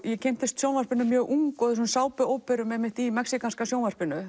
ég kynntist sjónvarpinu mjög ung og sápuóperum í mexíkanska sjónvarpinu